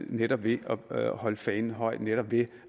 netop ved at holde fanen højt netop ved